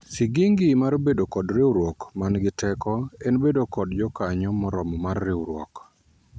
sigingi mar bedo kod riwruok man gi teko en bedo kod jokanyo moromo mar riwruok